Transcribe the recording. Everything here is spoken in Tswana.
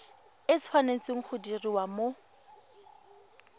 e tshwanetse go diriwa mo